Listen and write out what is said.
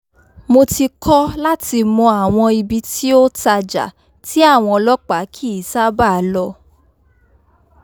mo ti kọ́ láti mọ àwọn ibi tí ó tajà tí àwọn ọlọ́pàá kì í sábàá lọ